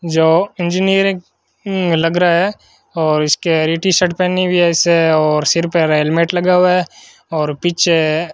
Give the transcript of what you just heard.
जो इंजीनियरिंग लग रहा है और इसके हर टीशर्ट पहनी हुई है और सिर पर हेलमेट लगा हुआ है और पीछे --